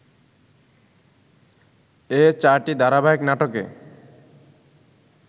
এ চারটি ধারাবাহিক নাটকে